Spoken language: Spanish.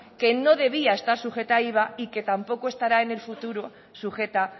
que no debía estar sujeta al iva y que tampoco estará en el futuro sujeta